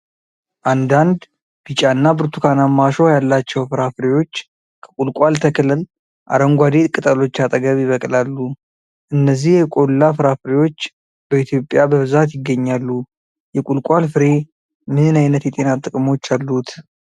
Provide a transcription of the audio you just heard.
አንዳንድ ቢጫና ብርቱካናማ እሾህ ያላቸው ፍራፍሬዎች ከቁልቋል ተክል አረንጓዴ ቅጠሎች አጠገብ ይበቅላሉ። እነዚህ የቆላ ፍራፍሬዎች በኢትዮጵያ በብዛት ይገኛሉ። የቁልቋል ፍሬ ምን ዓይነት የጤና ጥቅሞች አሉት?